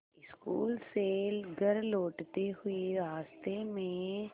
school से घर लौटते हुए रास्ते में